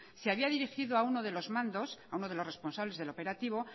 se había dirigido a uno de los mandos a uno de los responsables del operativo